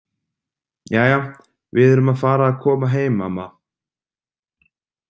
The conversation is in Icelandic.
Jæja, við erum að fara að koma heim, amma.